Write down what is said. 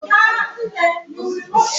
Mgbe gboo, o nweghị ebe a na-edozi isi n’ala Igbo.